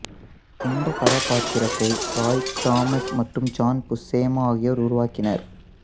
இந்தக் கதாபாத்திரத்தை Roy Thomas மற்றும் ஜான் புஸ்ஸெமா ஆகியோர் உருவாக்கினர்